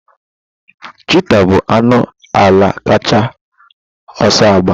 Chịtáh bụ anụ ala kacha ọsọ agba.